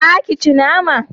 Za ki ci nama?